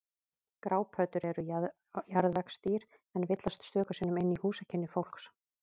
Grápöddur eru jarðvegsdýr en villast stöku sinnum inn í húsakynni fólks.